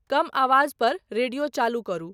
कम आवाज़ पर रेडियो चालू करु